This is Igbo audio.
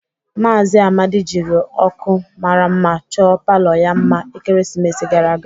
Maazị Amadi jiri ọkụ mara mma chọọ palọ ya mma ekeresimesi gara aga.